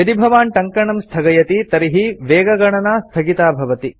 यदि भवान् टङ्कणं स्थगयति तर्हि वेगगणना स्थगिता भवति